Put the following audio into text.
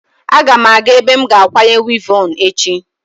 Aga m aga ebe m ga-akwanye wivọn echi.